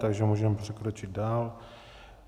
Takže můžeme přikročit dál.